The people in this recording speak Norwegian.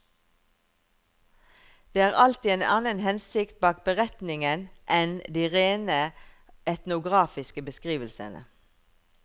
Det er alltid en annen hensikt bak beretningen enn de rene etnografiske beskrivelsene.